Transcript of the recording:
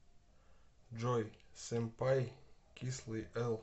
джой семпай кислый эл